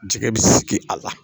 Jɛgɛ bɛ sigi a la